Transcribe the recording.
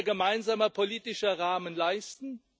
Das muss unser gemeinsamer politischer Rahmen leisten.